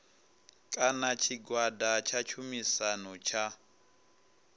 kana tshigwada tsha tshumisano tsha